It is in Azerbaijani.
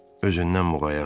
Özündən muğayat ol.